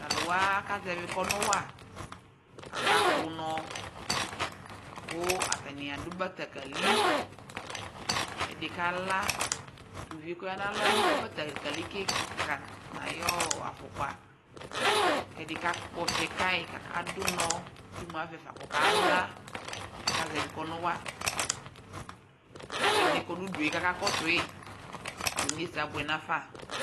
taluwa aka zɛvi kɔnuwa akakpunɔ ku atani adu bletekeli ɛdi kala ɛdɩ kroaŋ adu bletekeli ke na yu ɔ ayu afɔkpa ku ɛdi kakpɔtsɛ kayɩ kadunɔ kemu avɛ kɔkala kazɛʋɩ kɔnuwa kɛdini kɔnu udue kaka kɔsuma inyesɛ abuɛ nafa